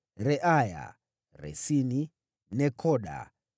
wazao wa Reaya, Resini, Nekoda,